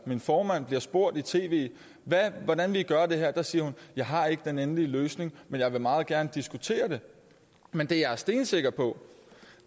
min formand bliver spurgt i tv hvordan vil i gøre det her siger hun jeg har ikke den endelige løsning men jeg vil meget gerne diskutere det men det jeg er stensikker på